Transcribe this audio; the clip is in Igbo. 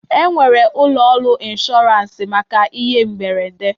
E nwere ụlọ ọrụ ịnshọransị maka ihe mberede